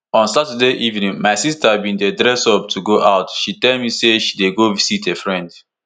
on saturday evening my sister bin dey dress up to go out she tell me say she dey go visit a friend